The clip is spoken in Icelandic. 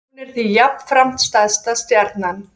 Hún er því jafnframt stærsta stjarnan.